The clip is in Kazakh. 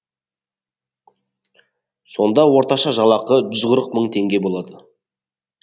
сонда орташа жалақы жүз қырық мың теңге болады